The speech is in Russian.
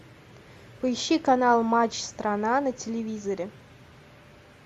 поищи канал матч страна на телевизоре